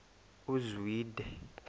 uzwide